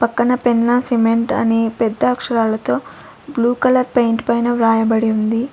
పక్కన పెన్నా సిమెంట్ అని పెద్ద అక్షరాలతో బ్లూ కలర్ పెయింట్ పైన వ్రాయబడి ఉంది.